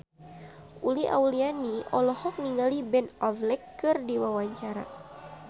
Uli Auliani olohok ningali Ben Affleck keur diwawancara